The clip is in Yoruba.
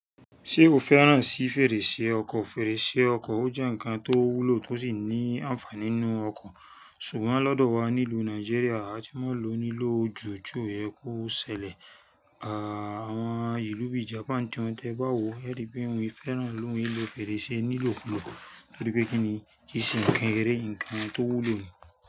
Ṣé o fẹ́ràn sí fèrèsé ọkọ̀? Fèrèsé ọkọ̀ ó jẹ́ ǹkan tó wúlò tó sì ní ànfàní nínú ọkọ̀. Ṣùgbọ́n lọ́dọ̀ wa nílùú Nàìjíríà, a ti mọ̀ ló nílò ojù tó yẹ kó ṣẹlẹ̀. Àwọn ìlú bíi Japan gan tẹ́ẹ bá wò, ẹ rí pé wọ́n fẹ́ràn lóun wí lọ fèrèsé nílò kulò tórí pé kí ni kì se nkan eré ǹkan tó wúlò nìyẹn.